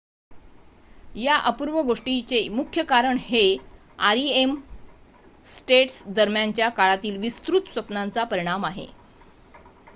या अपूर्व गोष्टीचे मुख्य कारण हे rem स्टेट्स दरम्यानच्या काळातील विस्तृत स्वप्नांचा परिणाम आहे